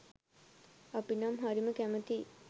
අපි නම් හරිම කැමතියි